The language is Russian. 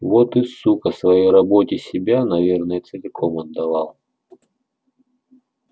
вот и сука своей работе себя наверное целиком отдавал